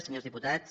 senyors diputats